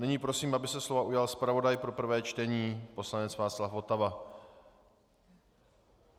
Nyní prosím, aby se slova ujal zpravodaj pro prvé čtení poslanec Václav Votava.